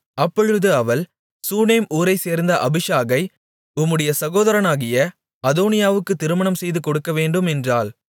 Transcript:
அப்பொழுது அவள் சூனேம் ஊரைச்சேர்ந்த அபிஷாகை உம்முடைய சகோதரனாகிய அதோனியாவுக்குத் திருமணம் செய்துகொடுக்கவேண்டும் என்றாள்